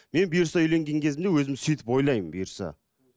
мен бұйырса үйленген кезімде өзім сөйтіп ойлаймын бұйырса